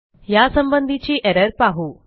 ह्यासंबंधीची error पाहू